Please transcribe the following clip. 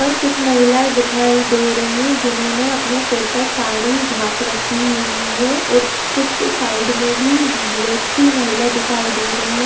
कुछ महिलाए दिखाई दे रही हैं। जिन्होंने अपने सिर पर साड़ी ढाक रखी हुई है और कुछ साइड मे भी व्यक्ति महिला दिखाई दे रही --